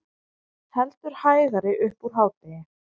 Heldur hægari upp úr hádegi